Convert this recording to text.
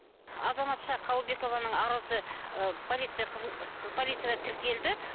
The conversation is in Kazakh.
азаматша қалыбекованың арызы ыыы полиция полицияда тіркелді